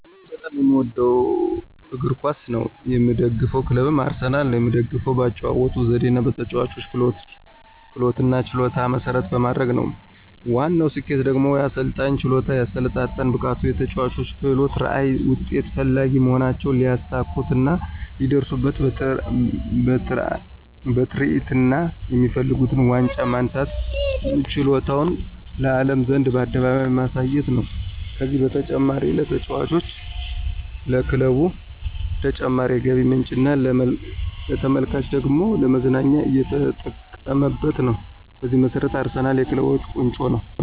እኔ በጣም የምወደው እግር ኳስ ነው። የምደግፈው ክለብም አርሰናል ነው። የምደግፈውም በአጨዋወቱ ዘዴና በተጨዋቾች ክህሎትና ችሎታን መሰረት በማድረግ ነው። ዋናው ስኬቱ ደግሞ የአሰልጣኙ ችሎታ፣ የአሰለጣጠን ብቃቱ፣ የተጨዋቾች ክህሎት፣ ራዕይ፣ ውጤት ፈላጊ መሆናቸውና ሊያሳኩትና ሊደርሱበትራዕይና የሚፈልጉት ዋንጫ ማንሳትና ችሎታቸውን ለአለም ዘንድ በአደባባይ ማሳየት ነው። ከዚህም በተጨማሪ ለተጫዋቾች፣ ለክለቡ ተጨማሪ የገቢ ምንጭና ለተመልካቹ ደግሞ ለመዝናኛ እየተጠቀመበት ነው። በዚህ መሰረት አርሰናል የክለቦች ቆንጮ ነው